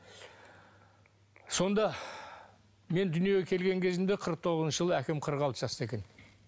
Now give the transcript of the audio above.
сонда мен дүниеге келген кезімде қырық тоғызыншы жылы әкем қырық алты жаста екен